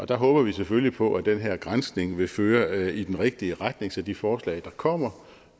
der håber vi selvfølgelig på at den her granskning vil føre i den rigtige retning så de forslag der kommer